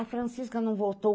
A Francisca não voltou.